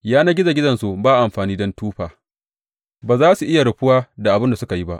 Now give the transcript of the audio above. Yanar gizo gizonsu ba amfani don tufa; ba za su iya rufuwa da abin da suka yi ba.